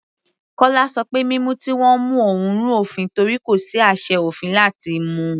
Kọla ṣọ pé mímú tí wọ́n mú òun rú òfin torí kò sí àṣẹ òfin láti mú u.